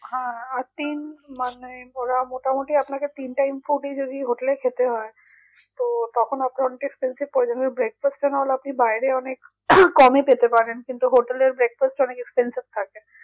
হ্যাঁ আতীন মানে ওরা মোটামুটি আপনাকে তিন times food ই যদি hotel এ খেতে হয় তো তখন breakfast আপনি বাইরে অনেক কমে পেতে পারেন কিন্তু hotel এর breakfast অনেক expensive থাকে